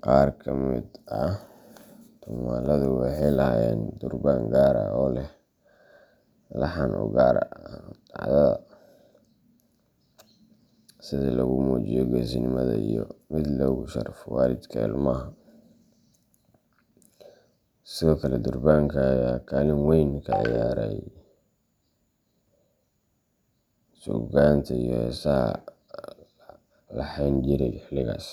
Qaar ka mid ah tumaaladu waxay lahaayeen durbaan gaar ah oo leh laxan u gaar ah dhacdada. sida mid lagu muujiyo geesinimada iyo mid lagu sharfayo waalidka ilmaha. Sidoo kale, durbaanka ayaa kaalin weyn ka ciyaarayay suugaanta iyo heesaha la laheyn jiray xilligaas.